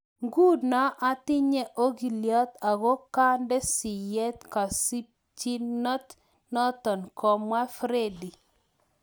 Ngunoo atinyee ogilyot ago kaande siyeet kasimchinot notok komwaa Friede